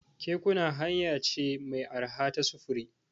Kekuna hanya ce mai arha ta sufuri.